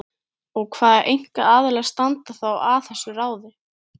Og hvað einkaaðilar standa þá að þessu ráði?